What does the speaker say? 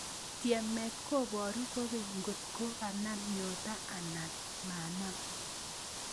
Tyemet koboru kokeny nkot ko konam nyonto anan manam